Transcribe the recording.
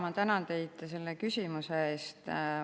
Ma tänan teid selle küsimuse eest.